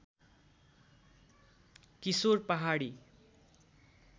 किशोर पहाडी